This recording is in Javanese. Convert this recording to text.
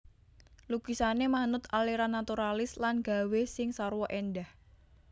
Lukisané manut aliran naturalis lan gawé sing sarwa éndah